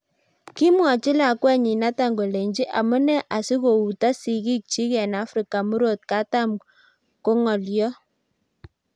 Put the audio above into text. kimwochi lakwenyi Nathan kolechi amunee asikouto siki chik eng Africa murot koham ko ngolyot